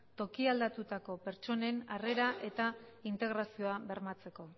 toki aldatutako pertsonen harrera eta integrazioa bermatzeko